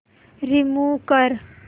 remove कर